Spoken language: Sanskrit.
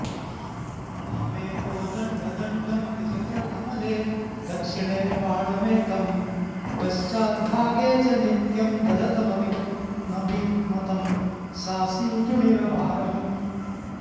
वामे कोदण्डदण्डं निजकरकमले दक्षिणे बाणमेकं पश्चाद्भागे च नित्यं दधतमभिमतं सासितूणीरभारम्